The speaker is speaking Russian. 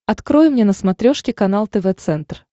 открой мне на смотрешке канал тв центр